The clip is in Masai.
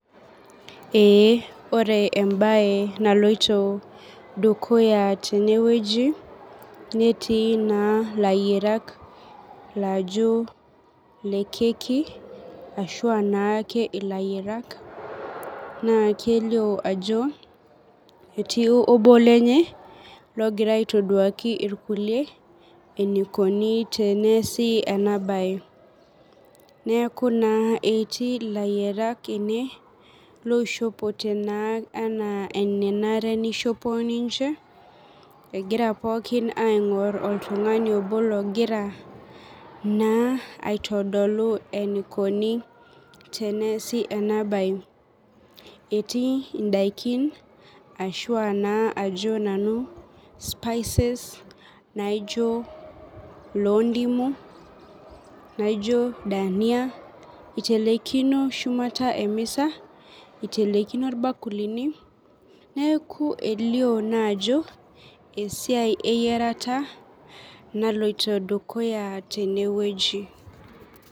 Eee ore embaye naloyo dukuya teneweji netii naa laiyerak laijo le keki ashu naa ilaiyersk ashu naa keilioo naa ajo etii lobo lenye logira aitoduaki lkule eneikoni teneasi ena baye. Neaku naa etii laiyarak ene loishopote naa enaa enanare neishopo ninche, egira pookin aing'or oltungani obo logira naa aitodolu eneikoni teneasi ena baye, etii indakin ashu bnaa ajo nanu spices naijo loo indimu naijo dania eitelekino shumata emesa, eitelekino ilbakulini, neaku eilio naa ajo esiai e iyarata naloto dukuya teneweji.